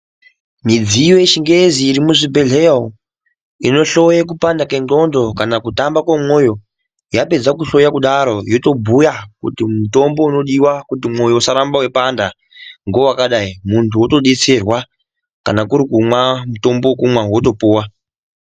Midziyo yechingezi iri muzvibhedhleya umu inohloye kupanda kwendxondo kana kuhamba kwemwoyo. Yapedza kuhloya kudaro yotombuya kuti mutombo unodiva kuti mwoyo usaramba veipanda ngovakadai, muntu otobetserwa kana kurikumwa mutombo vekumwa votopuva.